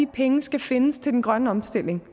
pengene skal findes til den grønne omstilling